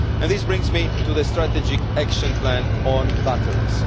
This brings me to the strategic action plan on batteries.